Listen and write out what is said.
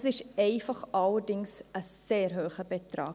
Allerdings ist es einfach ein sehr hoher Betrag.